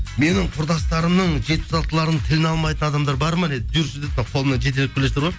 менің құрдастарымның жетпіс алтылардың тілін алмайтын адамдар бар ма деді жүрші деді мынау қолымнан жетелеп келе жатыр ғой